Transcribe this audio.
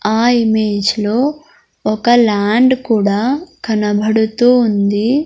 ఆ ఇమేజ్ లో ఒక ల్యాండ్ కూడా కనబడుతూ ఉంది.